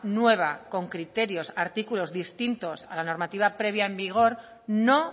nueva con criterios artículos distintos a la normativa previa en vigor no